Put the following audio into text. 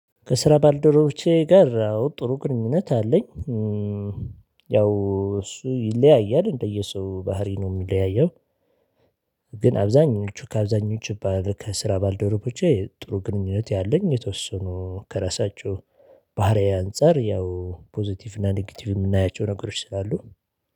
ከስራ ባልደረቦቼ ጋር ጥሩ ግንኙነት አለኝ። ያው እሱ ይለያያል እንደየሰው ባህሪ ነው የምንለያየው። ግን አብዛኞቹ ከአብዛኞቹ ከስራ ባልደረቦቹ ጥሩ ግንኙነት ያለኝ የተወሰኑ ከራሳቸው ባህሪየ አንፃር ያው ፖዘቲቭ እና ኔጌቲቭ የምናያቸው ነገሮች ስላሉ።